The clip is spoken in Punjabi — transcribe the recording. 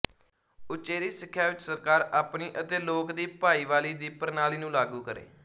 ਉਚੇਰੀ ਸਿੱਖਿਆ ਵਿੱਚ ਸਰਕਾਰ ਆਪਣੀ ਅਤੇ ਲੋਕ ਦੀ ਭਾਈਵਾਲੀ ਦੀ ਪ੍ਰਣਾਲੀ ਨੂੰ ਲਾਗੂ ਕਰੇ